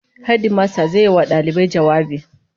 Hedimasta zai yi wa dalibai jawabi